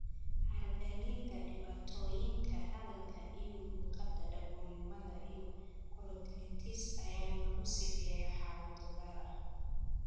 Aragga liita, dhibaatooyinka hadalka iyo luqadda, dhagoolnimada, iyo chorioretinitis ayaa lagu sifeeyay xaalado gaar ah.